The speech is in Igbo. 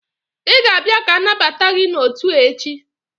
Ị ga-abịa ka anabata gị n'otu a echi!